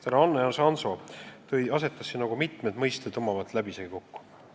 Härra Hannes Hanso pani mitmed mõisted omavahel läbisegi kokku.